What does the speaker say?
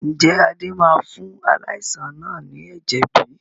Ǹjẹ́ Adé máa fún aláìsàn náà ni ẹ̀jẹ̀ bí?